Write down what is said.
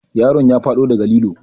Yaron ya faɗo daga lilo.